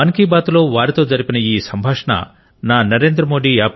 మన్ కి బాత్ లో వారితో జరిపిన ఈ సంభాషణ ను నా NarendraModi